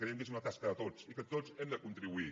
creiem que és una tasca de tots i que tots hi hem de contribuir